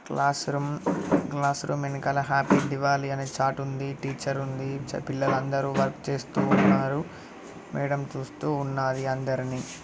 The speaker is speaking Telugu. అది ఒక క్లాస్ రూమ్ క్లాస్ రూమ్ వెనకాల హ్యాపీ దీవాలి అని ఒక చార్ట్ ఉంది. టీచర్ ఉంది పిల్లలందరూ వర్క్ చేస్తూన్నారు . మేడం చూస్తూ ఉన్నారు అందరిని.